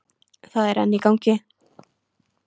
Það er enn í gangi.